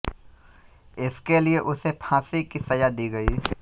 इसके लिए उसे फाँसी की सजा दी गयी